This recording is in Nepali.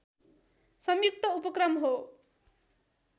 संयुक्त उपक्रम हो